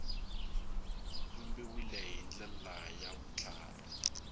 vumbiwile hi ndlela ya vutlhari